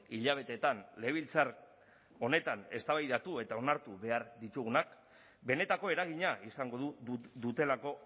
hilabeteetan legebiltzar honetan eztabaidatu eta onartu behar ditugunak benetako eragina izango dutelako